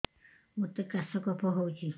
ମୋତେ କାଶ କଫ ହଉଚି